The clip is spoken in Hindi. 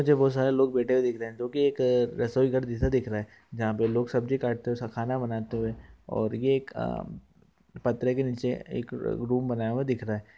बहुत सारे लोग बैठे हुए दिख रहे जो की एक रसोई घर जैसे दिख रहा है जहा पे लोग सब्जी काटते हुए खाना बनते हुए और एक पत्रे के निचे एक रूम बनाया हुआ दिख रहा हैं।